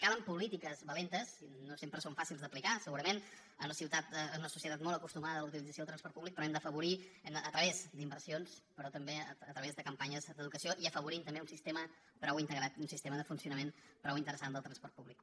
calen polítiques valentes i no sempre són fàcils d’aplicar segurament en una societat molt acostumada a la utilització del transport públic però ho hem d’afavorir a través d’inversions però també a través de campanyes d’educació i afavorir també un sistema prou integrat un sistema de funcionament prou interessant del transport públic